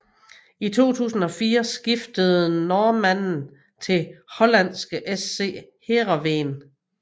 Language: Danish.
I 2004 skiftede normanden til hollandske SC Heerenveen